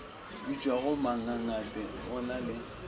bitšwago mangangate go na le